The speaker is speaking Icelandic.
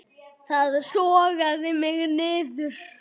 Það sogaði mig niður.